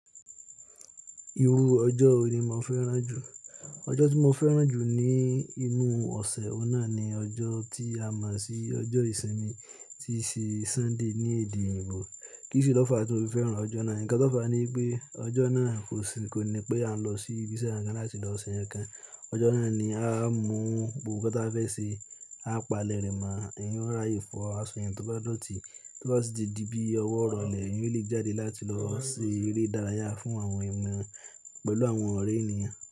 Iru ọjọ́ yi ni mo fẹ́ràn jù? Ọjọ́ tí mo fẹ́ràn jù ní inú ọ̀sẹ̀ ọ̀nà ni ọjọ́ tí a mọ̀ sí ọjọ́ ìsinmi tí í sì Sunday ní èdè Yorùbá. Kísi ló fà á tí mo fi fẹ́ràn ọjọ́ náà? Ǹkan tó fà á ni pé ọjọ́ náà kò sí, kò ní pé à ń lọ sí ibiṣẹ́ àńkan láti lọ ṣe nǹkan. Ọjọ́ náà ni a máa ń mú ohun gbogbo tí a fẹ́ ṣe. A palẹ̀rẹ̀ máa ń yún ráyì fún àsọyàn tó bá lọ́tì, tó bá sì di bí ọwọ́ rọlẹ̀, ìyùn lígí jáde láti lọ ṣe eré ìdárayá fún àwọn ẹ̀mọ pẹ̀lú àwọn ọ̀rẹ́ ènìyàn.